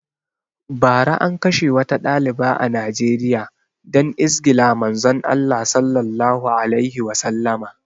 Bara an kashe wata ɗaliba a Nijeriya dan izgila Manzon Allah Sallallahu alaihi Wasallama